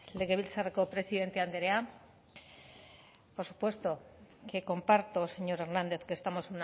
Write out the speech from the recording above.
legebiltzarreko presidente andrea por supuesto que comparto señor hernández que estamos